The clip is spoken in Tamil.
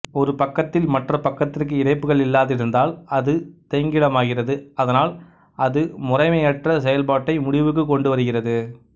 ஒரு பக்கத்தில் மற்ற பக்கத்திற்கு இணைப்புகள் இல்லாதிருந்தால் அது தேங்கிடமாகிறது அதனால் அது முறைமையற்ற செயல்பாட்டை முடிவுக்கு கொண்டு வருகிறது